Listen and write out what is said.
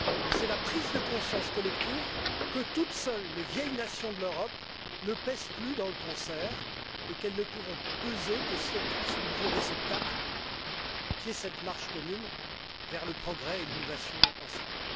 C'est la prise de conscience collective que, toutes seules, les vieilles nations de l'Europe ne pèsent plus dans le concert et qu'elles ne pourront peser que si elles trouvent ce nouveau réceptacle qui est cette marche commune vers le progrès et vers l'innovation, ensemble.